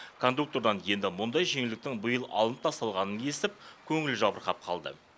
кондуктордан енді мұндай жеңілдіктің биыл алынып тасталғанын естіп көңілі жабырқап қалды